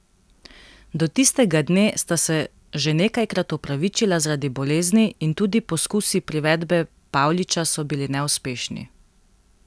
Do tistega dne sta se že nekajkrat opravičila zaradi bolezni in tudi poskusi privedbe Pavliča so bili neuspešni.